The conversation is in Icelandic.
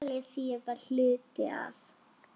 Galisía var hluti af